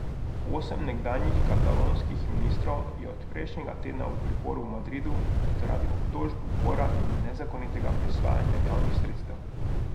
Osem nekdanjih katalonskih ministrov je od prejšnjega tedna v priporu v Madridu zaradi obtožb upora in nezakonitega prisvajanja javnih sredstev.